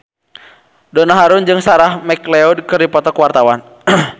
Donna Harun jeung Sarah McLeod keur dipoto ku wartawan